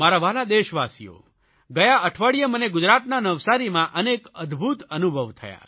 મારા વ્હાલા દેશવાસીઓ ગયા અઠવાડિયે મને ગુજરાતના નવસારીમાં અનેક અદભૂત અનુભવ થયા